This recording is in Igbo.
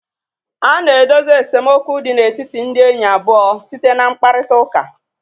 A na-edozi esemokwu dị n'etiti ndị enyi abụọ site na mkparịtaụka.